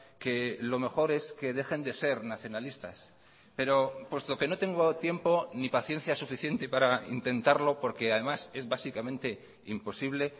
que lo mejor es que dejen de ser nacionalistas pero puesto que no tengo tiempo ni paciencia suficiente para intentarlo porque además es básicamente imposible